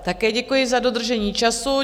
Také děkuji za dodržení času.